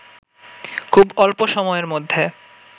খুব অল্প সময়ের মধ্যে